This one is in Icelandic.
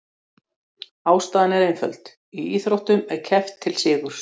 Ástæðan er einföld: í íþróttum er keppt til sigurs.